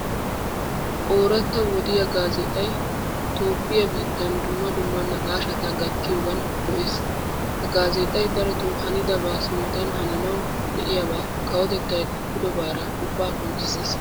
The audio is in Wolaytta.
Oorata wodiya gaazexxay toophphiyaa biittan dumma dumma naaqashshata gattiyogan go'ees. Ha gaazexay darotto hannidaba sinttan hananawu de'iyaa kawotettay qoppidobaara ubba qonccisees.